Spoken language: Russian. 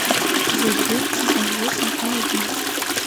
эпизод девять сезон восемь аладдин